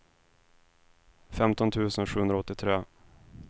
femton tusen sjuhundraåttiotre